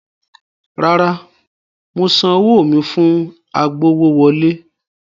Rárá, mo san owó mi fún agbowówọlé.